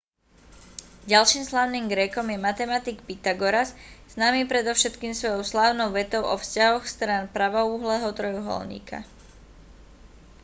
ďalším slávnym grékom je matematik pytagoras známy predovšetkým svojou slávnou vetou o vzťahoch strán pravouhlého trojuholníka